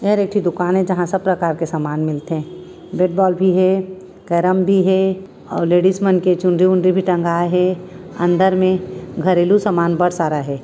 एहर एक ठी दुकान हे जहाँ सब प्रकार के सामान मिलथे बेट बॉल भी हे केरम भी हे और लेडिस मन के चुनरी वुनरि भी टँगाये हे अंदर मे घरेलू सामान बढ़ सारा हे।